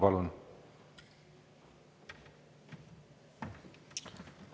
Palun!